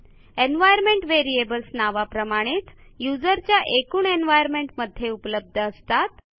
environment variables नावाप्रमाणेच युजरच्या एकूण एन्व्हायर्नमेंट मध्ये उपलब्ध असतात